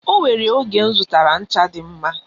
O nwere oge m zụtara ncha dị mma.